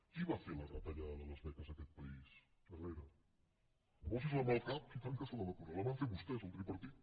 qui va fer la retallada de les beques a aquest país herrera posi’s la mà al cap i tant que se la hi ha de posar la van fer vostès el tripartit